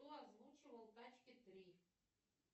кто озвучивал тачки три